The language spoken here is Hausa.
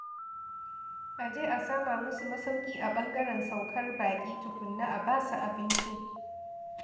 A je a sama musu masauki a ɓangaren saukar baƙi tukunna a basu abinci